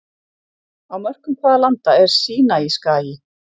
Á mörkum hvaða landa er Sínaískagi?